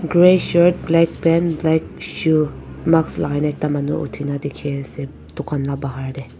Grey shirt black pant black shoe mask lakai na ekta manu uthi kena dekhe ase tugan la bahar tey.